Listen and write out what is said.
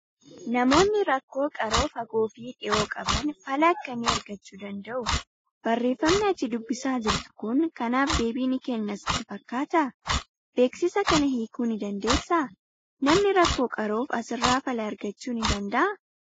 Namoonni rakkoo qaroo fagoo fi dhihoo qaban fala akkamii aragchuu danda'u? Barreeffamni ati dubbisaa jirtu kun kanaaf deebii ni kenna sitti fakkaataa? Beeksisa kana hiikuu ni dandeessaa? Namni rakkoo qaroof asirraa fala aragchuu ni danda'aa?